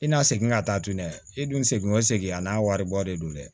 I n'a segin ka taa tunu dɛ i dun segin o segin a n'a waribɔ de don dɛ